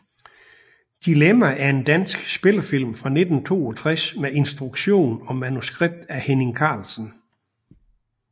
Dilemma er en dansk spillefilm fra 1962 med instruktion og manuskript af Henning Carlsen